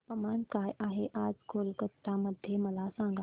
तापमान काय आहे आज कोलकाता मध्ये मला सांगा